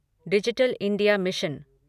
digital India mission